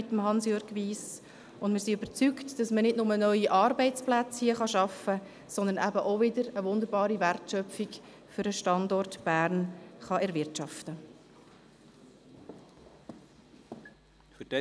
Wir sind überzeugt, dass man nicht nur neue Arbeitsplätze hier wird schaffen können, sondern eben wiederum eine wunderbare Wertschöpfung für den Standort Bern erwirtschaften kann.